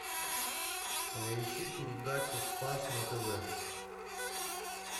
поищи передачу спас на тв